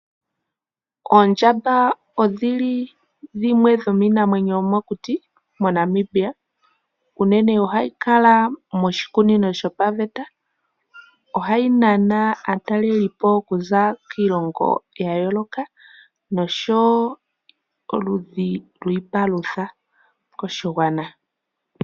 Oondjamba odhili dhimwe dhomiinamwenyo yomokuti mo Namibia. Unene ohayi kala moshikunino shopaveta. Ohayi nana aatalelipo okuza kiilongo ya yooloka noshowo oludhi lwiipalutha koshigwana.